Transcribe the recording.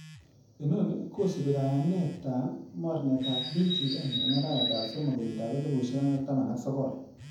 Inoni kosiibi kayanetab mornetab PGN en arawetab somok kenyitab elfusiek oeng ak taman ak sogol.